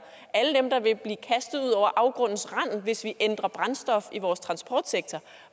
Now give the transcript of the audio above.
alle dem der vil blive kastet ud over afgrundens rand hvis vi ændrer brændstof i vores transportsektor